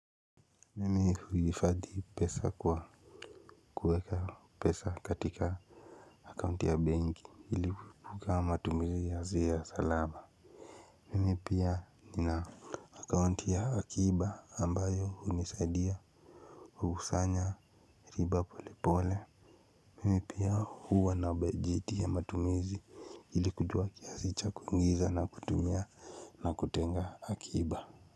Mimi huhifadhi pesa kwa kuweka pesa katika akaunti ya benki ili kukama matumizi ya salaba mimi pia nina akaunti ya akiba ambayo hunisaidia husanya riba pole pole mimi pia huwa na budget ya matumizi ili kujua kiasi cha kuingiza na kutumia na kutenga akiba.